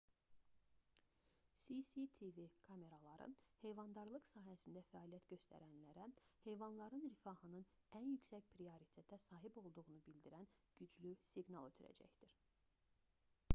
cctv kameraları heyvandarlıq sahəsində fəaliyyət göstərənlərə heyvanların rifahının ən yüksək prioritetə sahib olduğunu bildirən güclü siqnal ötürəcəkdir